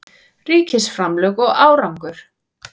Ríkisframlög og árangur